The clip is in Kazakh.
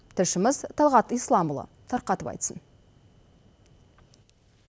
тілшіміз талғат исламұлы тарқатып айтсын